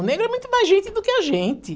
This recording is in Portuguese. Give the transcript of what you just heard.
O negro é muito mais gente do que a gente.